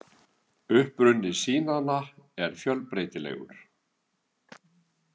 Uppruni sýnanna er fjölbreytilegur.